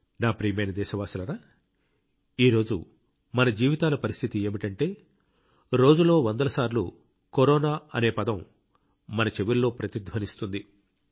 నా ప్రియమైన దేశవాసులారా ఈ రోజు మన జీవితాల పరిస్థితి ఏమిటంటే రోజులో వందల సార్లు కరోనా అనే పదం మన చెవుల్లో ప్రతిధ్వనిస్తుంది